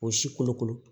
O si kolokolo